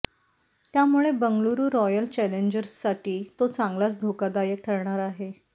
त्यामुळे बंगळुरु रॉयल चॅलेंजर्ससाठी तो चांगलाचं धोकादायक ठरणार आहे